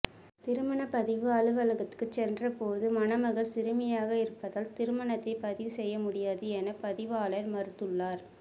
திருமணபதிவு அலுவலகத்துக்கு சென்ற போது மணமகள் சிறுமியாக இருப்பதால் திருமணத்தைப் பதிவு செய்ய முடியாது என பதிவாளர் மறுத்துள்ளார்